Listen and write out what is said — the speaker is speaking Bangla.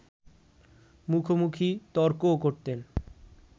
মুখোমুখি তর্কও করতেন